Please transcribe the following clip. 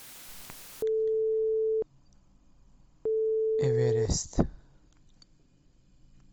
эверест